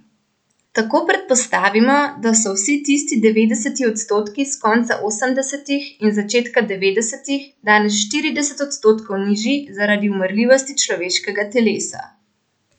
Tako predpostavimo, da so vsi tisti devetdeseti odstotki s konca osemdesetih in začetka devetdesetih danes štirideset odstotkov nižji zaradi umrljivosti človeškega telesa.